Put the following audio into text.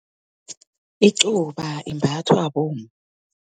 Icuba, imbathwa bomma.